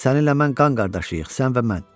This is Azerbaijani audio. Sən ilə mən qan qardaşıyıq, sən və mən.